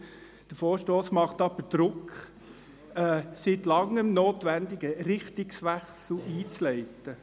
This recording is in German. Der Vorstoss macht jedoch Druck, einen seit lange notwendigen Richtungswechsel einzuleiten.